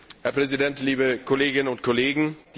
Herr Präsident, liebe Kolleginnen und Kollegen!